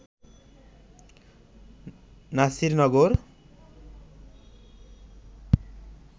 Nasirnagar